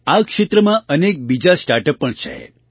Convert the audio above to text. આ ક્ષેત્રમાં અનેક બીજાં સ્ટાર્ટ અપ પણ છે